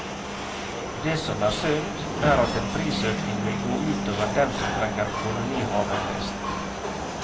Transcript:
Det som er synd, er at en prisøkning vil gå ut over dem som trenger kolonihaven best.